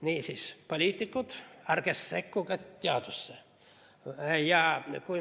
Niisiis, poliitikud, ärge sekkuge teadusesse.